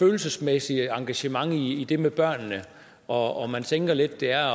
følelsesmæssigt engagement i det med børnene og man tænker lidt at det er